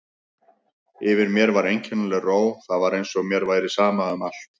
Yfir mér var einkennileg ró, það var eins og mér væri sama um allt.